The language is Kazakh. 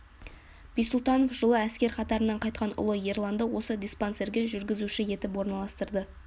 ббисұлтанов жылы әскер қатарынан қайтқан ұлы ерланды осы диспансерге жүргізуші етіп орналастырды